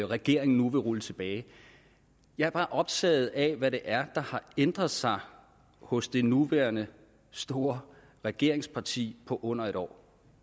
regeringen nu vil rulle tilbage jeg er bare optaget af hvad det er der har ændret sig hos det nuværende store regeringsparti på under en år